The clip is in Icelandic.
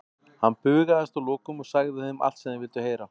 Hann bugaðist að lokum og sagði þeim allt sem þeir vildu heyra.